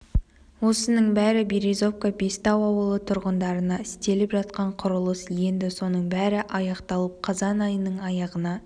осының бәрі березовка бестау ауылы тұрғындарына істеліп жатқан құрылыс енді соның бәрі аяқталып қазан айының аяғына